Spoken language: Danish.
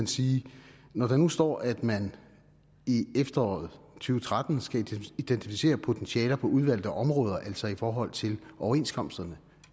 sige at når der nu står at man i efteråret to tusind og tretten skal identificere potentialer på udvalgte områder altså i forhold til overenskomsterne